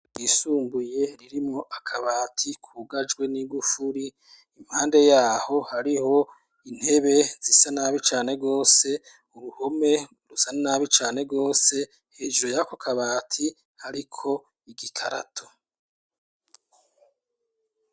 Yisumbuye ririmo akabati kugajwe n'igufuri impande yaho hariho intebe zisanabicane gose uruhome rusa nabi cane wose hejuru yako kabati ariko igikarato.